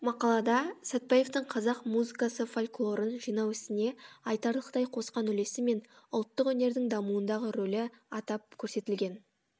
мақалада сәтбаевтың қазақ музыкасы фольклорын жинау ісіне айтарлықтай қосқан үлесі мен ұлттық өнердің дамуындағы рөлі атап көрсетілген